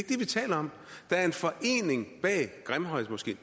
vi taler om der er en forening bag grimhøjmoskeen